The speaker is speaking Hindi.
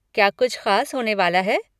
क्या कुछ ख़ास होने वाला है?